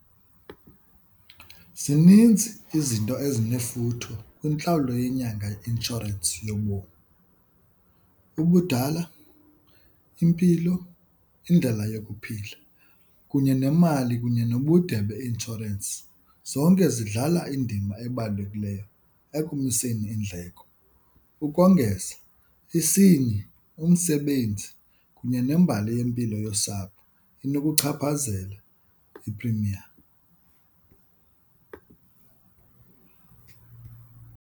Zininzi izinto esinefuthe kwintlawulo yenyanga yeinshorensi yobomi, ubudala, impilo, indlela yokuphila kunye nemali kunye nobude beinshorensi. Zonke zidlala indima ebalulekileyo ekumiseni iindleko. Ukongeza isini, umsebenzi kunye nembali yempilo yosapho inokuchaphazela i-premium.